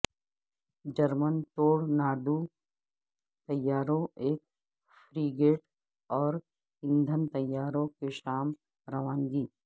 German tornado طیاروں ایک frigate اور ایندھن طیاروں کی شام روانگی